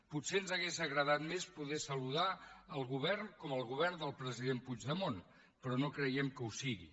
potser ens hauria agradat més poder saludar el govern com el govern del president puigdemont però no creiem que ho sigui